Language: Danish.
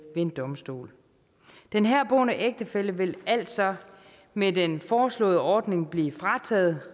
ved en domstol den herboende ægtefælle ville altså med den foreslåede ordning blive frataget